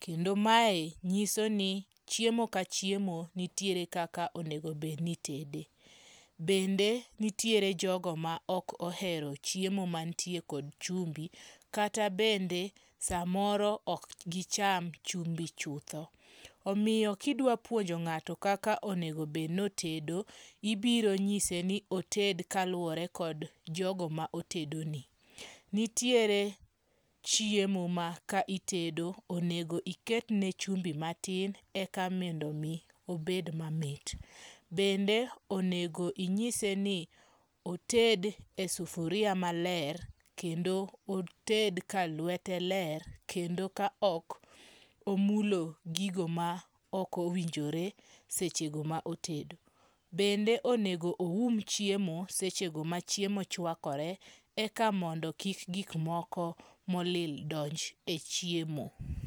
kendo mae nyiso ni chiemo ka chiemo nitiere kaka onego bed ni itede, bende nitiere jogo ma ok ohero chiemo manitiere kod chumbu kata bende samoro ok gicham chumbi chutho, omiyo kidwapuonjo nga'to kaka onego bed no otedo ibiro nyise ni oted kaluore kod jogo ma otedone, nitiere chiemo ma kaitedo onego iketne chumbi matin eka mondo mi obed mamit, bende onego inyise ni oted e sufuria maler kendo oted ka luete ler kendo ka ok omulo gigo ma ok owinjore sechego ma otedo , bende onego oum chiemo sechego ma chiemo chwakore eka mondo kik gik moko molil donj e chiemo.